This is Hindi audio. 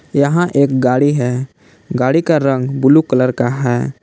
यहां एक गाड़ी है गाड़ी का रंग ब्लू कलर का है।